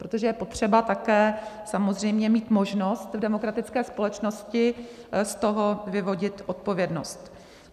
Protože je potřeba také samozřejmě mít možnost v demokratické společnosti z toho vyvodit odpovědnost.